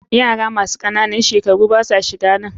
Yara masu ƙananun shekaru basa shiganan.